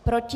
Proti?